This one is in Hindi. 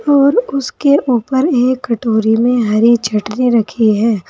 और उसके ऊपर एक कटोरी में हरी चटनी रखी है।